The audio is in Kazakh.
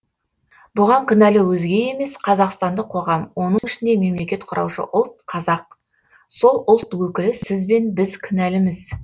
бұған кінәлі өзге емес қазақстандық қоғам оның ішінде мемлекет құраушы ұлт қазақ сол ұлт өкілі сіз бен біз кінәліміз